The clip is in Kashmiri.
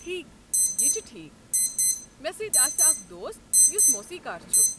ٹھیٖکھ، یہِ چھُ ٹھیٖکھ۔ مےٚ سۭتۍ آسہِ اکھ دوست یُس موسیٖقار چھُ۔